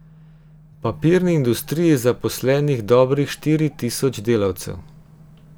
V papirni industriji je zaposlenih dobrih štiri tisoč delavcev.